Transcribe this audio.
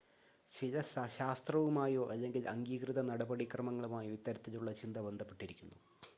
ചില ശാസ്ത്രവുമായോ അല്ലെങ്കിൽ അംഗീകൃത നടപടിക്രമങ്ങളുമായോ ഇത്തരത്തിലുള്ള ചിന്ത ബന്ധപ്പെട്ടിരിക്കുന്നു